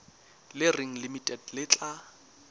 le reng limited le tla